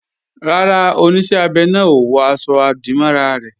Rárá, Oníṣẹ́ abẹ náà ò wọ aṣọ-àdìmọ́ra rẹ̀